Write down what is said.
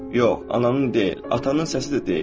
Yox, ananın deyil, atanın səsi də deyil.